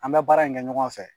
An bɛ baara in kɛ ɲɔgɔn fɛ